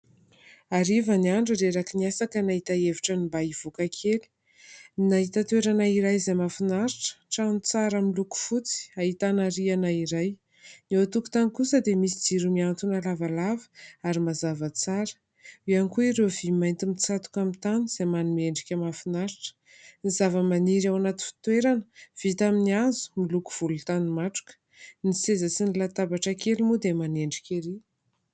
Hariva ny andro, reraka ny asa ka nahita hevitra ny mba hivoaka kely, nahita toerana iray izay mahafinaritra, trano tsara miloko fotsy, ahitana rihana iray, eo an-tokotany kosa dia misy jiro mihantona lavalava ary mazava tsara, eo ihany koa ireo vy mainty mitsatoka amin'ny tany izay manome endrika mahafinaritra, ny zava-maniry ao anaty fitoerana, vita amin'ny hazo, miloko volon-tany matroka, ny seza sy ny latabatra kely moa dia manendrika erỳ.